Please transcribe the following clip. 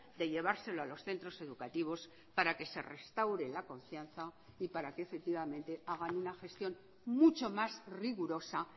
de llevárselo a los centros educativos para que se restaure la confianza y para que efectivamente hagan una gestión mucho más rigurosa